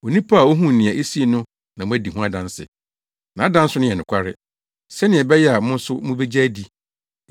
Onipa a ohuu nea esii no na wadi ho adanse. Nʼadanse no yɛ nokware, sɛnea ɛbɛyɛ a mo nso mubegye adi.